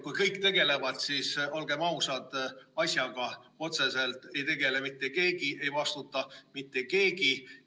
Kui kõik tegelevad, siis, olgem ausad, asjaga otseselt ei tegele mitte keegi, ei vastuta mitte keegi.